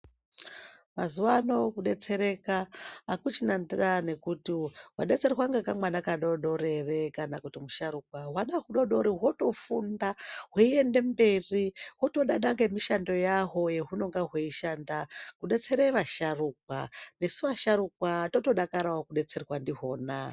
Mazuva anawa kudetsereka akusisina kuti wadetserwa nekamwana kadodori kana kuti musharukwa hwana hudodori hotofunda hweienda mberi hwotodada nemishando yahwo hwaunenge hweishanda kudetsera asharukwa nesu asharukwa totodakara kudetserwa ndizvona.